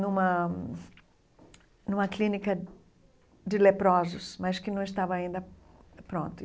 numa numa clínica de leprosos, mas que não estava ainda pronta.